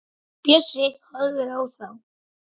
Bjössi horfir á þá.